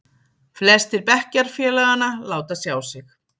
Flestir bekkjarfélaganna láta sjá sig.